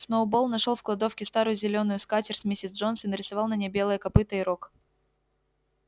сноуболл нашёл в кладовке старую зелёную скатерть миссис джонс и нарисовал на ней белое копыто и рог